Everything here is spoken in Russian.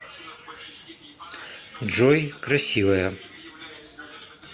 джой красивая